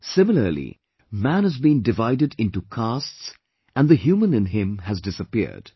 Similarly man has been divided into castes and the human in him has disappeared